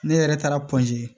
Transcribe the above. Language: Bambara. Ne yɛrɛ taara